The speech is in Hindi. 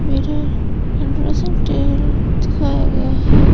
मिरर हंड्रेड परसेंट टेल दिखाया गया है।